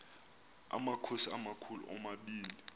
amakhosi amakhulu omabini